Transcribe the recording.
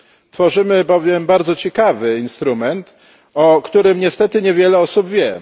Tworzymy bowiem bardzo ciekawy instrument, o którym niestety niewiele osób wie.